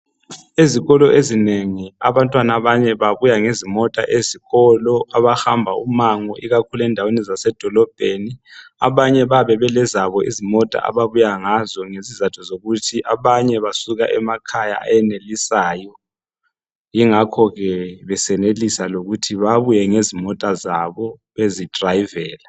Ezikolo ezinengi abantwana abanye babuya ngezimota ezikolo abahamba umango ikakhulu endaweni zasedolobheni abanye bayabe belezabo izimota ababuya ngazo ngezizatho zokuthi abanye basuka emakhaya ayenelisayo yingakho ke besenelisa lokuthi babuye lezimota zabo bezidrayivela